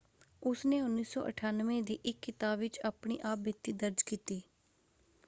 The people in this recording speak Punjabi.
ਉਸਨੇ 1998 ਦੀ ਇੱਕ ਕਿਤਾਬ ਵਿੱਚ ਆਪਣੀ ਆਪ ਬੀਤੀ ਦਰਜ ਕੀਤੀ।